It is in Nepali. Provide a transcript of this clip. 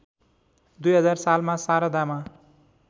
२००० सालमा शारदामा